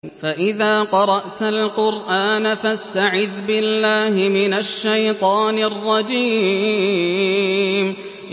فَإِذَا قَرَأْتَ الْقُرْآنَ فَاسْتَعِذْ بِاللَّهِ مِنَ الشَّيْطَانِ الرَّجِيمِ